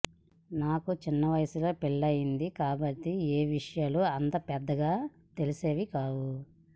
నాకు చిన్న వయస్సులో పెళ్లయ్యింది కాబట్టి ఏ విషయాలు అంత పెద్దగా తెలిసేవి కావు